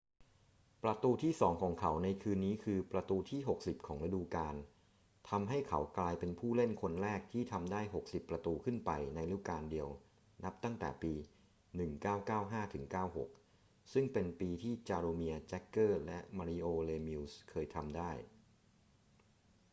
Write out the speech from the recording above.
ประตูที่สองของเขาในคืนนี้คือประตูที่ 60 ของฤดูกาลทำให้เขากลายเป็นผู้เล่นคนแรกที่ทำได้ 60 ประตูขึ้นไปในฤดูกาลเดียวนับตั้งแต่ปี 1995-96 ซึ่งเป็นปีที่จาโรเมียร์ แจ็กเกอร์และมาริโอ เลมิวซ์เคยทำได้